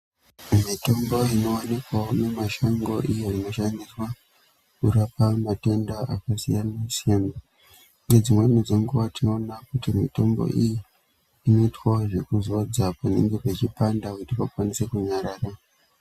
Mitombo inowanikwawo mumashango iyo inoshandiswa kurapa matenda akasiyana siyana nedzimweni dzenguwa tinoona kuti mitombo iyi inoitwa zvekuzodzwa kuningira vechipanda vakwanise kunyarara.